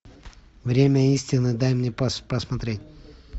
время истины дай мне посмотреть